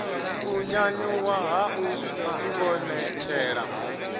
u nyanyuwa ha u ivhonetshela